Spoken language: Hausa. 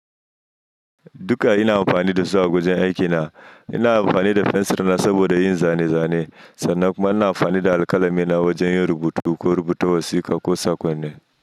Duka ina amfani da su a wajen aikina. Ina amfani da fensir na saboda yin zane-zane, sannan kuma ina amfani da alƙalamina wajen yin rubutu ko rubuta wasiƙa ko saƙonni.